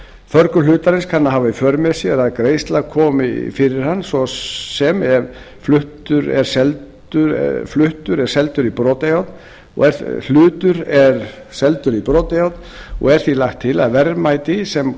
förgun hlutarins kann að hafa í för með sér að greiðsla komi fyrir hann svo sem ef hlutur er seldur í brotajárn og er því lagt til að verðmæti sem